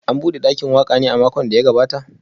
An bude dakin waka ne a makon da ya gabata?